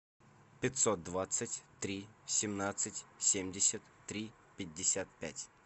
пятьсот двадцать три семнадцать семьдесят три пятьдесят пять